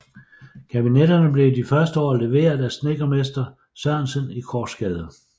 Kabinetterne blev i de første år leveret fra snedkermester Sørensen i Korsgade